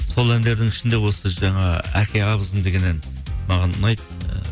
сол әндердің ішінде осы жаңа әке абызым деген ән маған ұнайды